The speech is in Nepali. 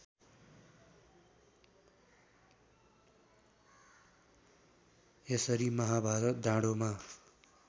यसरी महाभारत डाँडोमा